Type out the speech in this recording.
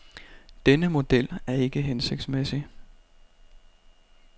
Denne model er ikke hensigtsmæssig.